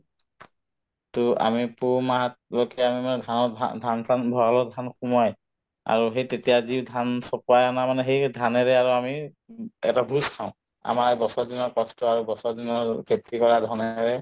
to আমি পুহ মাহত ধান-চান ভড়ালত ধান সোমোৱাই আৰু সেই তেতিয়া যি ধান চপোৱাই অনা মানে সেই ধানেৰে আৰু আমি উব এটা ভোজ খাওঁ আমাৰ বছৰ দিনৰ কষ্ট আৰু বছৰ দিনৰ আৰু খেতি কৰা